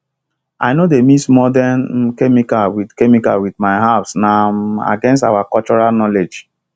i no dey mix modern um chemical with chemical with my herbsna um against our cultural knowledge